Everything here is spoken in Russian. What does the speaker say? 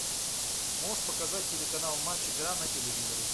можешь показать телеканал матч игра на телевизоре